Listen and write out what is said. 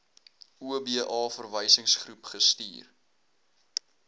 oba verwysingsgroep gestuur